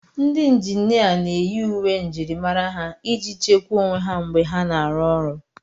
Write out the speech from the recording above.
Ndị injinia na-eyi uwe njirimara ha iji chekwaa onwe ha mgbe ha na-arụ ọrụ.